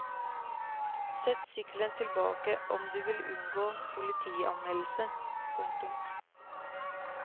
Sett sykkelen tilbake om du vil unngå politianmeldelse. punktum